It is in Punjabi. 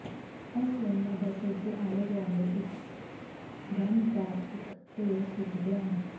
ਇਸ ਲਈ ਮੈਂ ਬਸ ਇਸਦੇ ਆਲੇ ਦੁਆਲੇ ਇੱਕ ਗੰਢ ਦਾ ਇੱਕ ਢੇਰ ਸੁੱਟ ਦਿਆਂਗਾ